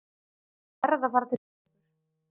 Ég verð að fara til Reykjavíkur!